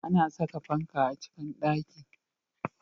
A na saka fanka a cikin ɗaki